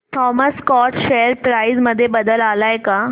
Thomas Scott share price मध्ये बदल आलाय का